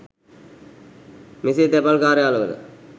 මෙසේ තැපැල් කාර්යාලවල